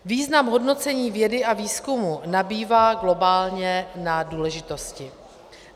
Význam hodnocení vědy a výzkumu nabývá globálně na důležitosti.